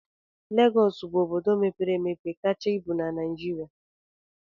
Legọs bụ obodo mepere emepe kacha ibu na Naịjirịa